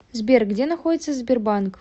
сбер где находится сбербанк